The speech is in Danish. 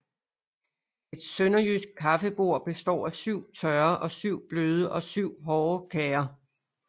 Et sønderjysk kaffebord bestod af syv tørre og syv bløde og syv hårde kager